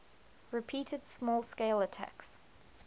repeated small scale attacks